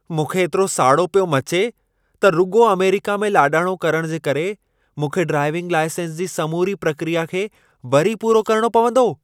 मूंखे एतिरो साड़ो पियो मचे त रुॻो अमेरिका में लाॾाणो करण जे करे, मूंखे ड्राइविंग लाइसेंस जी समूरी प्रक्रिया खे वरी पूरो करणो पवंदो।